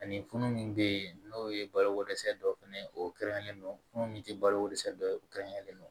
Ani funu min bɛ yen n'o ye balokodɛsɛ dɔ fɛnɛ ye o kɛrɛnkɛrɛnlen don funun min tɛ balo dɛsɛ dɔ ye kɛrɛnkɛrɛnnen do